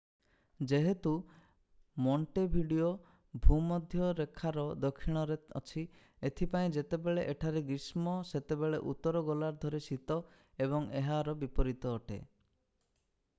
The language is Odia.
ଯେହେତୁ ମୋଣ୍ଟେଭିଡ଼ିଓ ଭୂମଧ୍ୟ ରେଖାର ଦକ୍ଷିଣରେ ଅଛି ଏଥିପାଇଁ ଯେତେବେଳେ ଏହିଠାରେ ଗ୍ରୀଷ୍ମ ସେତେବେଳେ ଉତ୍ତର ଗୋଲାର୍ଦ୍ଧରେ ଶୀତ ଏବଂ ଏହାର ବିପରୀତ ଅଟେ